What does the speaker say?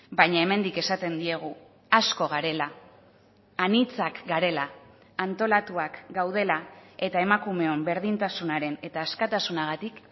baina hemendik esaten diegu asko garela anitzak garela antolatuak gaudela eta emakumeon berdintasunaren eta askatasunagatik